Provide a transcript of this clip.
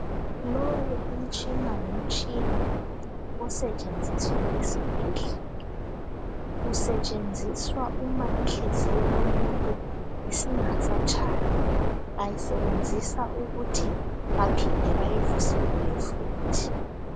Lowu umtshina ngumtshina osetshenziswa esibhedlela, usetshenziswa uma inhliziyo yomuntu ingasayshayi. Bawusebenzisa ukuba bayivuselele futhi.